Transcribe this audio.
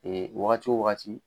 Ee wagati o wagati